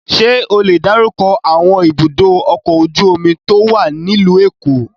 Ṣé ó le dárúkọ àwọn ibùdó-ọkọ̀ ojú-omi tó wà nílùú Èkó?